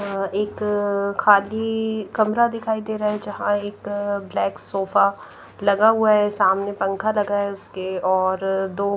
एक अ खाली अ कमरा दिखाई दे रहा है जहां एक अ ब्लैक सोफा लगा हुआ है सामने पंखा लगा है उसके और अ दो --